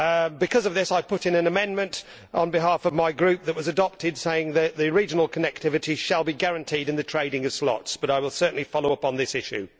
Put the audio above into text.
Because of this I put in an amendment on behalf of my Group which was adopted, saying that regional connectivity shall be guaranteed in the trading of slots, but I will certainly follow up on this issue.